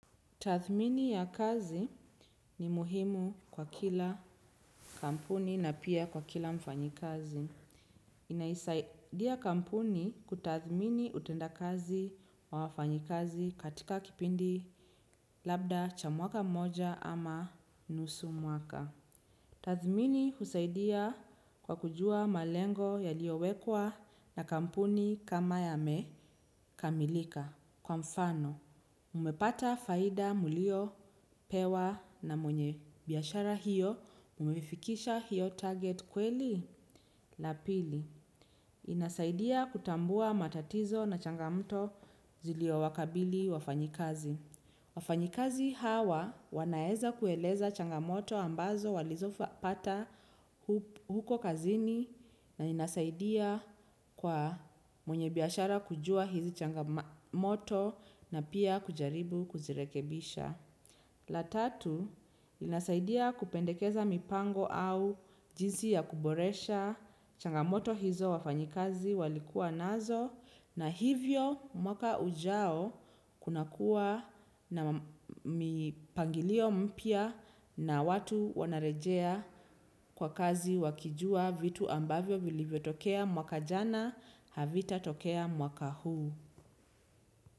Tathmini ya kazi ni muhimu kwa kila kampuni na pia kwa kila mfanyikazi. Inaisaidia kampuni kutathmini utendakazi wa wafanyikazi katika kipindi labda cha mwaka mmoja ama nusu mwaka. Tathmini husaidia kwa kujua malengo yaliyowekwa na kampuni kama yamekamilika. Kwa mfano, mmepata faida mliopewa na mwenye biashara hiyo, mmefikisha hiyo target kweli? La pili. Inasaidia kutambua matatizo na changamoto ziliowakabili wafanyikazi. Wafanyikazi hawa wanaeza kueleza changamoto ambazo walizopata huko kazini na inasaidia kwa mwenye biashara kujua hizi changamoto na pia kujaribu kuzirekebisha. La tatu, inasaidia kupendekeza mipango au jinsi ya kuboresha changamoto hizo wafanyikazi walikuwa nazo. Na hivyo mwaka ujao kuna kuwa na mipangilio mpya na watu wanarejea kwa kazi wakijua vitu ambavyo vilivyotokea mwaka jana havitatokea mwaka huu.